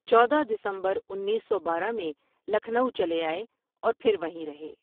چودہ دسمبرانیس سو بارہ میں لکھنؤ چلے آئے اور پھروہیں ر ہے۔